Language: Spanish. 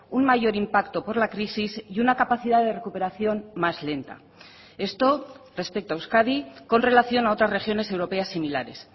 un mayor impacto por la crisis y una capacidad de recuperación más lenta esto respecto a euskadi con relación a otras regiones europeas similares